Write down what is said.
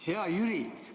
Hea Jüri!